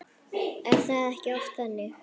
Er það ekki oft þannig?